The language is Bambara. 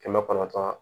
Kɛmɛ kɔnɔntɔn